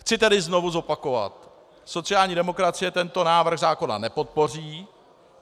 Chci tedy znovu zopakovat - sociální demokracie tento návrh zákona nepodpoří.